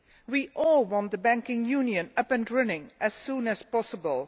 We all want the Banking Union up and running as soon as possible.